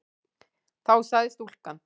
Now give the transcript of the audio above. Þá sagði stúlkan